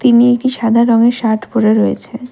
মেয়েটি সাদা রঙের শার্ট পড়ে রয়েছে।